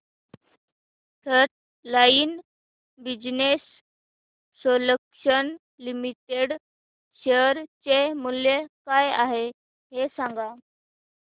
frontline Business Solutions Limited share चे मूल्य काय आहे हे सांगा